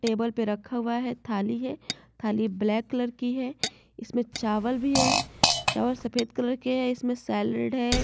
Table पे रखा हुआ है थाली है खाली ब्लैक कलर की है इसमें चावल भी है चावल सफेद कलर के है इसमें सेलेड है।